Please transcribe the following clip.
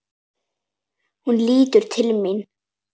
Hún lítur til mín.